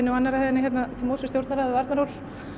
og annarri hæðinni hérna til móts við stjórnarráðið og Arnarhól